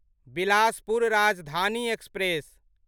Bilaspur Rajdhani express